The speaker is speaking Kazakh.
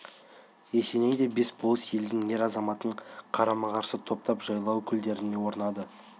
есеней де бес болыс елдің ер-азаматын қарама-қарсы топтап жайлау көлдеріне орнады